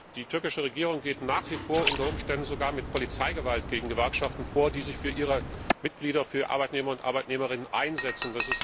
Die türkische Regierung geht nach wie vor unter Umständen sogar mit Polizeigewalt gegen Gewerkschaften vor, die sich für ihre Mitglieder, für Arbeitnehmerinnen und Arbeitnehmer einsetzen.